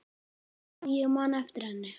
Já, ég man eftir henni.